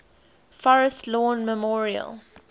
forest lawn memorial